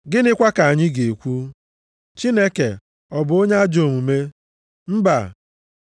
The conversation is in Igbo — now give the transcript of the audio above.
Gịnịkwa ka anyị ga-ekwu? Chineke ọ bụ onye ajọ omume? Mba!